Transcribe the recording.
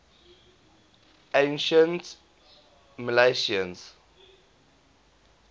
ancient milesians